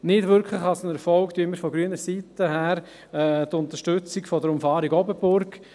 Nicht wirklich als Erfolg werten wir von grüner Seite die Unterstützung der Umfahrung Oberburg;